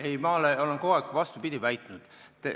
Ei, vastupidi, ma olen kogu aeg vastupidist väitnud.